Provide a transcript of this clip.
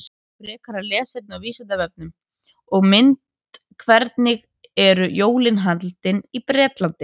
Frekara lesefni á Vísindavefnum og mynd Hvernig eru jólin haldin í Bretlandi?